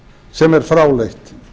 sem er fráleitt